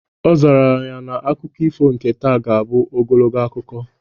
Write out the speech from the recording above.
Ọ zara ya na akụkọ ifo nke taa ga-abụ ogologo akụkọ